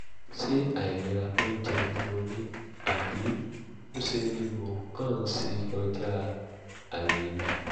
ṣé àìlera oúnjẹ ni mo ní àbí ńṣe ni mo kàn ń ṣe kọjá àyè mi?